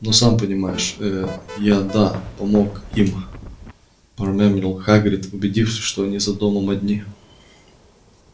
ну сам понимаешь ээ я да помог им промямлил хагрид убедившись что они за домом одни